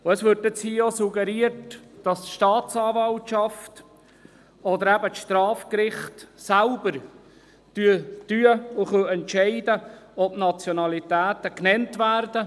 Es wurde hier auch suggeriert, dass die Staatsanwaltschaft oder die Strafgerichte selbst entscheiden können, ob die Nationalitäten genannt werden.